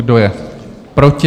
Kdo je proti?